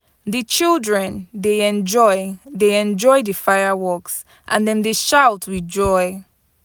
Di children dey enjoy dey enjoy di fireworks, and dem dey shout with joy.